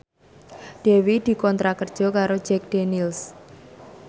Dewi dikontrak kerja karo Jack Daniels